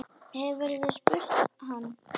Hefurðu spurt hann?